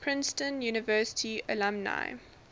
princeton university alumni